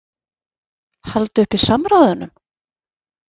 Halda uppi samræðunum?